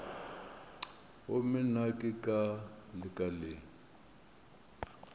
gomme nna ke ka lekaleng